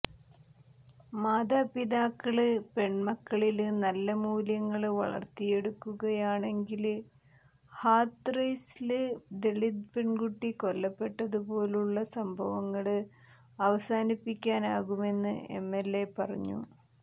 മാതാപിതാക്കള് പെണ്മക്കളില് നല്ല മൂല്യങ്ങള് വളര്ത്തിയെടുക്കുകയാണെങ്കില്ഹാഥ്റസില് ദളിത് പെണ്കുട്ടി കൊല്ലപ്പെട്ടതുപോലുള്ള സംഭവങ്ങള് അവസാനിപ്പിക്കാനാകുമെന്നും എംഎൽഎ പറഞ്ഞു